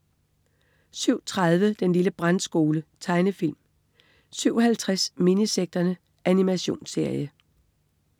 07.30 Den lille brandskole. Tegnefilm 07.50 Minisekterne. Animationsserie